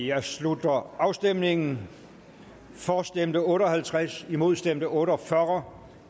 jeg slutter afstemningen for stemte otte og halvtreds imod stemte otte og fyrre